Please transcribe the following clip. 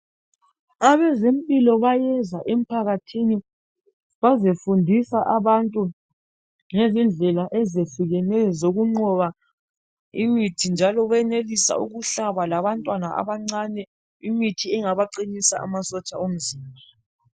Abezempilo bayenza emphakathini bazefundisa abantu ngezindlela ezehlukeneyo zokunqoba imithi njalo bayenelisa ukuhlaba labantwana abancane imithi engabaqinisa imizimba.